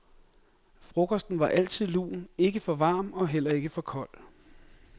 Frokosten var altid lun, ikke for varm og heller ikke for kold.